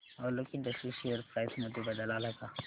Alok industries share price मध्ये बदल आलाय का